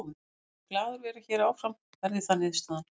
Ég mun glaður vera hér áfram verði það niðurstaðan.